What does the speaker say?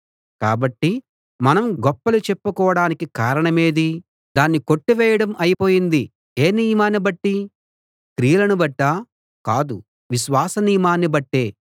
కాబట్టి మనం గొప్పలు చెప్పుకోడానికి కారణమేది దాన్ని కొట్టివేయడం అయిపోయింది ఏ నియమాన్ని బట్టి క్రియలను బట్టా కాదు విశ్వాస నియమాన్ని బట్టే